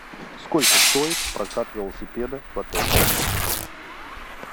сколько стоит прокат велосипеда в отеле